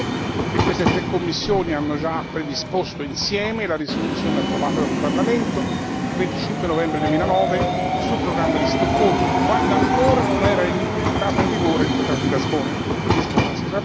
Ricordo che queste tre commissioni hanno già predisposto insieme la risoluzione approvata dal Parlamento il 25 novembre 2009 sul programma di Stoccolma, quando ancora non era entrato in vigore il trattato di Lisbona.